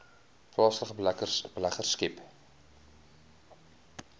plaaslike beleggers skep